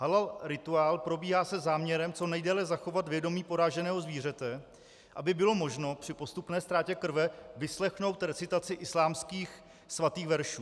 Halal rituál probíhá se záměrem co nejdéle zachovat vědomí poraženého zvířete, aby bylo možno při postupné ztrátě krve vyslechnout recitaci islámských svatých veršů.